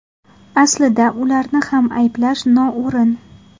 Aslida ularni ham ayblash noo‘rin.